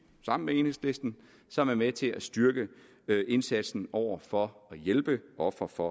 sammen med enhedslisten som er med til at styrke indsatsen over for at hjælpe ofre for